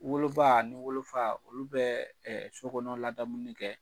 Woloba ani wolofa olu bɛ sokɔnɔ ladamuni kɛ.